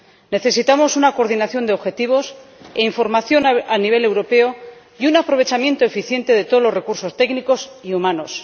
Necesitamos una coordinación de objetivos e información a nivel europeo y un aprovechamiento eficiente de todos los recursos técnicos y humanos.